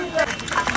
Bax, dayan, dayan.